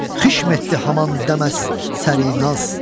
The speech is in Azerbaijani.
Xişm etdi haman də-mə-dəmsərinaz.